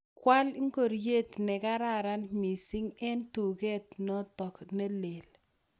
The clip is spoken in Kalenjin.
Kwa al ingoryet ne kararan missing' eng' tuget notok lel